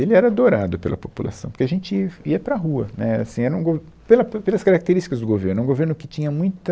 Ele era adorado pela população, porque a gente ia ia para a rua, né, assim, era um go, pela, pe, pelas características do governo, era um governo que tinha muita...